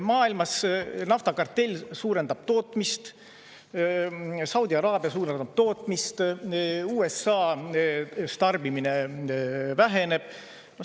Maailmas naftakartell suurendab tootmist, Saudi Araabia suurendada tootmist, USA tarbimine väheneb.